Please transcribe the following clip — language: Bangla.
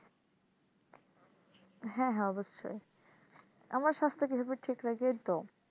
হ্যাঁ হ্যাঁ অবশ্যই আমার স্বাস্থ্য কিভাবে ঠিক রাখি এই তো